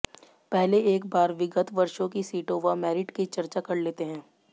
पहले एक बार विगत वर्षों की सीटों व मेरिट की चर्चा कर लेते हैं